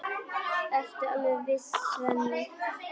Ertu alveg viss, Svenni?